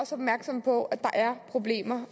opmærksom på at der er problemer